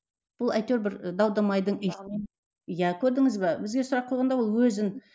бұл әйтеуір бір дау дамайдың иә көрдіңіз бе бізге сұрақ қойғанда ол өзін